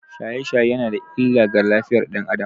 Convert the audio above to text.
Shaye-shaye yana da illa ga lafiyar ɗan Adam